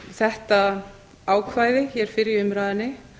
þetta ákvæði hér fyrr í umræðunni